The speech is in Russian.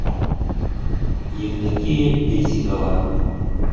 евдокия бесикова